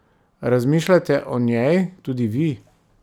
Razmišljate o njej tudi vi?